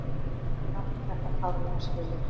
Við áttum þetta klárlega skilið.